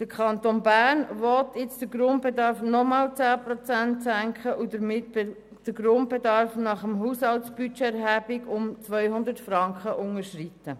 Der Kanton Bern will jetzt den Grundbedarf noch einmal um 10 Prozent senken und damit den Grundbedarf nach HABE um 200 Franken unterschreiten.